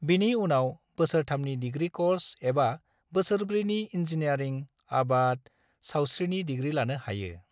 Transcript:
बिनि उनाव बोसोर थामनि डिग्री क'र्स एबा बोसोर ब्रैनि इंजीनियारिंग/आबाद/सावस्रिनि डिग्री लानो हायो।